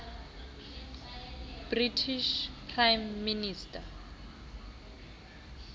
british prime minister